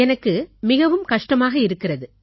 எனக்கு மிகவும் கஷ்டமாக இருக்கிறது